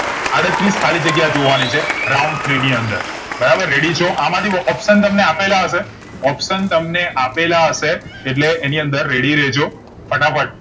આડત્રીસ ખાલી જગ્યા જોવા ની છે round ત્રણ ની અંદર બરાબર ready છો આમાંથી option તમને આપેલા હશે option તમને આપેલા હશે એટલે એની અંદર ready રેજો ફટાફટ